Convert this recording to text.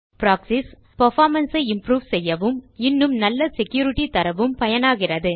proxies performance ஐ improve செய்யவும் இன்னும் நல்ல செக்யூரிட்டி தரவும் பயனாகிறது